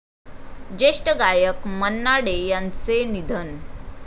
ज्येष्ठ गायक मन्ना डे यांचं निधन